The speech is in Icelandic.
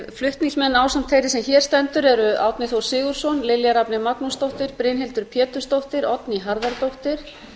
flutningsmenn ásamt þeirri sem hér stendur eru árni þór sigurðsson lilja rafney magnúsdóttir brynhildur pétursdóttir oddný harðardóttir